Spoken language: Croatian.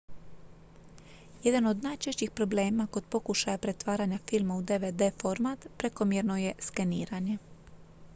jedan od najčešćih problema kod pokušaja pretvaranja filma u dvd format prekomjerno je skeniranje